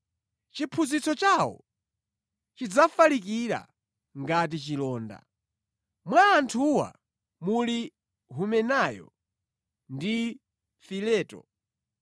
Chiphunzitso chawo chidzafalikira ngati chilonda. Mwa anthuwa muli Humenayo ndi Fileto.